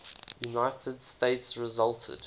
united states resulted